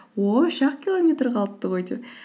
о үш ақ километр қалыпты ғой деп